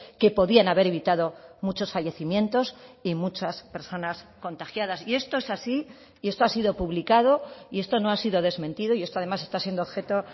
que podían haber evitado muchos fallecimientos y muchas personas contagiadas y esto es así y esto ha sido publicado y esto no ha sido desmentido y esto además está siendo objeto